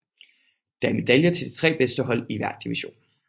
Der er medaljer til de 3 bedste hold i hver division